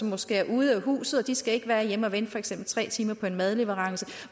måske ude af huset og de skal ikke være hjemme og vente for eksempel tre timer på en madleverance